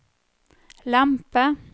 lempe